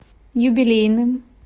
юбилейным